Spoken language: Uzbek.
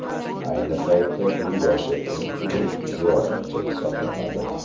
Ayni paytda u yoshi eng ulug‘ ziyoratchi hisoblanadi.